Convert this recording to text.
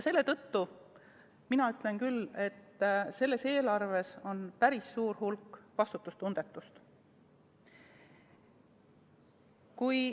Selle tõttu ütlen mina küll, et selles eelarves on päris suur hulk vastutustundetust.